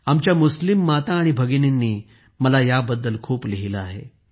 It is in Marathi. आमच्या मुस्लिम माता आणि भगिनींनी मला याबद्दल खूप लिहिले आहे